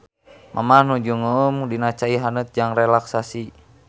Mamah nuju ngeueum dina cai haneut jang relaksasi.